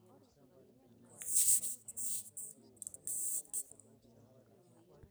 kaomonu ake peyie iyiolou ajo meshukuni ropiyani teningaas alak te gym